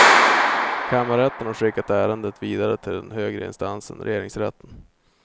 Kammarrätten har skickat ärendet vidare till den högre instansen regeringsrätten.